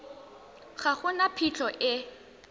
ga go na phitlho e